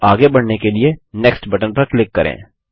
अब आगे बढ़ने के लिए नेक्स्ट बटन पर क्लिक करें